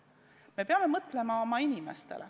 Me peame mõtlema oma inimestele.